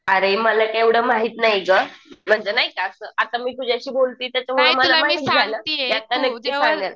अरे मला एवढं माहित नाही गं म्हणजे नाही का असं आता मी तुझ्याशी बोलती तर